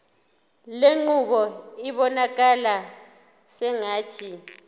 lenqubo ibonakala sengathi